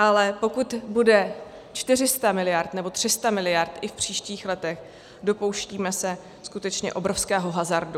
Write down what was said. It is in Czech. Ale pokud bude 400 miliard nebo 300 miliard i v příštích letech, dopouštíme se skutečně obrovského hazardu.